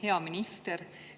Hea minister!